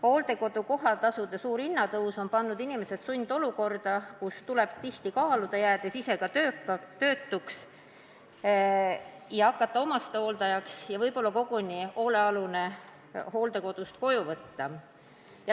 Hooldekodu kohatasude suur hinnatõus on pannud inimesed sundolukorda, kus paljudel tuleb kaaluda – jäädes ise tööta –, kas hakata omastehooldajaks ja võib-olla hoolealune koguni hooldekodust koju võtta.